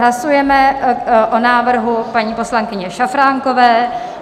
Hlasujeme o návrhu paní poslankyně Šafránkové.